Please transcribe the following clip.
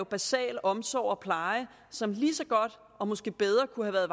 basal omsorg og pleje som lige så godt og måske bedre kunne være